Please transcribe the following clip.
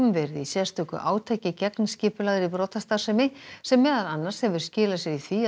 verið í sérstöku átaki gegn skipulagðri brotastarfsemi sem meðal annars hefur skilað sér í því að